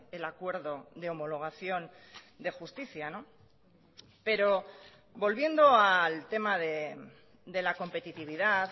el acuerdo de homologación de justicia pero volviendo al tema de la competitividad